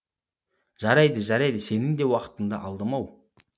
жарайды жарайды сенің де уақытыңды алдым ау